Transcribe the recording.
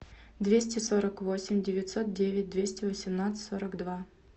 двести сорок восемь девятьсот девять двести восемнадцать сорок два